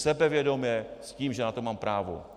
Sebevědomě, s tím, že na to mám právo.